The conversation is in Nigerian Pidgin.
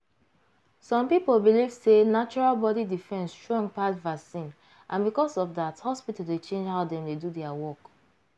some people believe sey natural body defence strong pass vaccine and because of that hospital dey change how dem dey do their work.